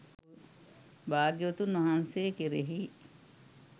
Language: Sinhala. භාග්‍යවතුන් වහන්සේ කෙරෙහි